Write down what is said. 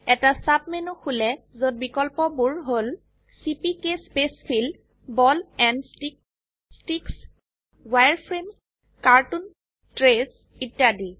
এটা sub menu খোলে যত বিকল্পবোৰ হল চিপিকে spacefill ball and stick sticks wireframe cartoon trace ইত্যাদি